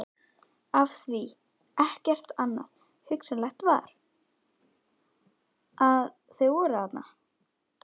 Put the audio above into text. Af því- ekkert annað hugsanlegt svar- að þau voru þarna.